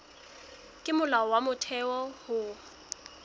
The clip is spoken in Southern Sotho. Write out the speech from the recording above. ke molao wa motheo ho